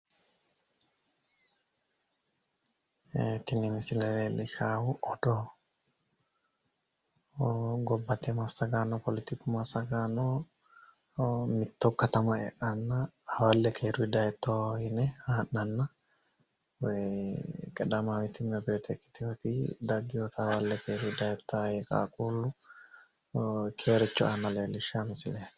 Tini misile leellishshaahu odoo. Gobbate massagaano poletiku massagaano mitto katama e'anna hawalle keeruyi dayitto yine haa'nanna qeedaamaawiti immebeete ikkitiwoti daggiwota hawalle keeruyi dayitta yee qaaqquullu ikkiworicho aanna leellishshawo misileeti.